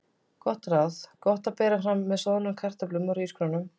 Gott ráð: Gott að bera fram með soðnum kartöflum eða hrísgrjónum.